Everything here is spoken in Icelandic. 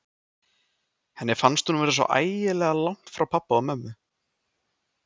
Henni fannst hún vera svo ægilega langt frá pabba og mömmu.